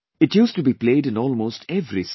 It used to be played in almost every state